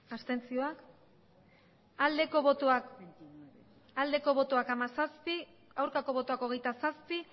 abstentzioa hamazazpi bai hogeita zazpi